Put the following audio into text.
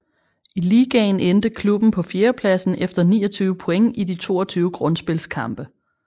I ligaen endte klubben på fjerdepladsen efter 29 point i de 22 grundspilskampe